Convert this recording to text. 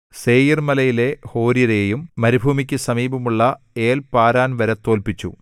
സേയീർമലയിലെ ഹോര്യരെയും മരുഭൂമിക്കു സമീപമുള്ള ഏൽ പാരാൻ വരെ തോല്പിച്ചു